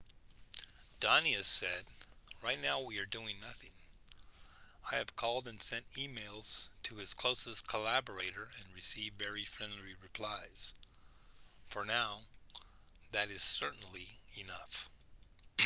danius said right now we are doing nothing i have called and sent emails to his closest collaborator and received very friendly replies for now that is certainly enough